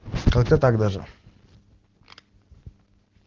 как-то так даже